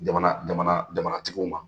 Jamana jamana jamanatigiw ma.